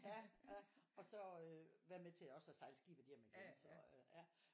Ja. Ja. Og så øh være med til også at sejle skibet hjem igen så øh ja